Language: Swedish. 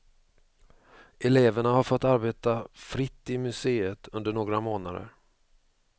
Eleverna har fått arbeta fritt i museet under några månader.